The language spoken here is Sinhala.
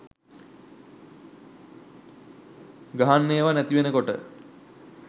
ගහන්න ඒවා නැතිවෙනකොට